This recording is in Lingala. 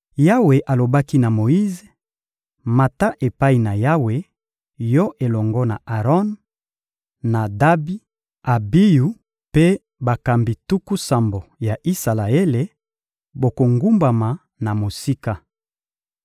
Yawe alobaki na Moyize: — Mata epai na Yawe, yo elongo na Aron, Nadabi, Abiyu mpe bakambi tuku sambo ya Isalaele; bokogumbama na mosika.